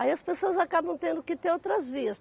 Aí as pessoas acabam tendo que ter outras vias.